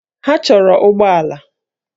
Ha chọrọ ụgbọ ala